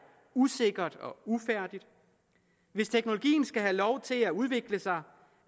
usikkert og ufærdigt hvis teknologien skal have lov til at udvikle sig